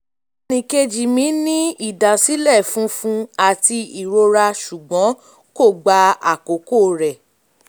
ẹnìkejì mi ní ìdásílẹ̀ funfun àti ìrora ṣùgbọ́n kò gba àkókò rẹ̀